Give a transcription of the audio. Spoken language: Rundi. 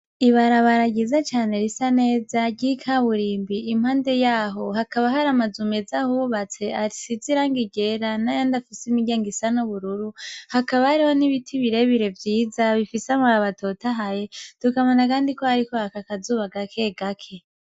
Ibarabara ryiza cane risa neza ,ry'ikaburimbi ,impande yaho hakaba hari amazu meza ahubatse asize irangi ryiza ,n'ayandi afise imiryango isa n'ubururu hakaba ariho n'ibiti birebire vyiza ,bifise amababi atotahaye ,tukabona kandi ko hariko haraka akazuba gake gake.